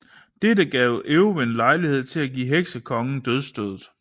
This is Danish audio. Dette gav Eowyn lejlighed til at give Heksekongen dødsstødet